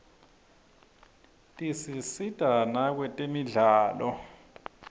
tisisita nakwetemidlalo